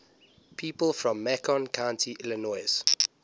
people from macon county illinois